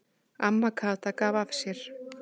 Amma Kata gaf af sér.